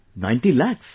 90 Lakhs